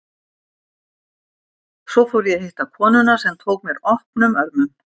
Svo fór ég að hitta konuna, sem tók mér opnum örmum.